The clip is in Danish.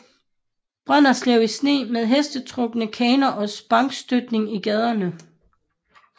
Brønderslev i sne med hestetrukne kaner og sparkstøttinger i gaderne